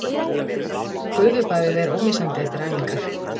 Gufubaðið er ómissandi eftir æfingar